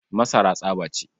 Masara tsaba ce.